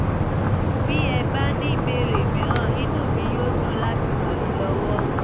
bí ẹ bá ní ìbéèrè mìíràn inú mi yóò dùn láti ràn yín lọ́wọ́